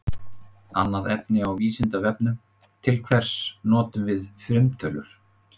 Annað efni á Vísindavefnum: Til hvers notum við frumtölur?